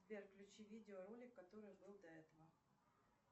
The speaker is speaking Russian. сбер включи видеоролик который был до этого